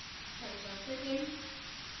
sidebar second